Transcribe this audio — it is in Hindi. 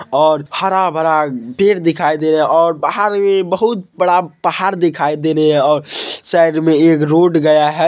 और हरा-भरा पेड़ दिखाई दे रहा है और बाहर ये बहुत बड़ा पहाड़ दिखाई दे रहा है और साइड में एक रोड गया है।